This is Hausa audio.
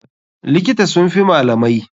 Likita sun fi malamai.